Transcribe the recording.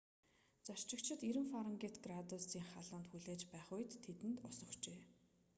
зорчигчид 90f градусын халуунд хүлээж байх үед тэдэнд ус өгчээ